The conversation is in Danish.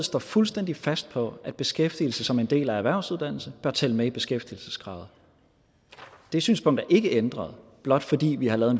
står fuldstændig fast på at beskæftigelse som en del af erhvervsuddannelse bør tælle med i beskæftigelseskravet det synspunkt er ikke ændret blot fordi vi har lavet